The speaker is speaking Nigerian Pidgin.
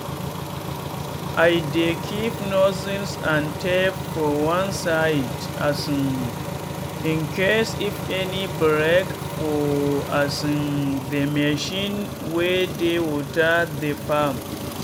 i dey keep nozzles and tape for one side um incase if any break for um the machine wey dey water the farm.